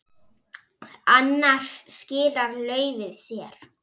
Annars skilar laufið sér.